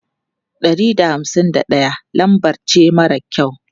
Ɗari da hamsin da ɗaya lambar ce mara kyau.